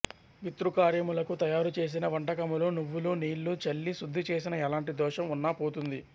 పితృకార్యములకు తయారు చేసిన వంటకములు నువ్వులు నీళ్ళు చల్లి శుద్ధిచేసిన ఎలాంటి దోషం ఉన్నాపోతుంది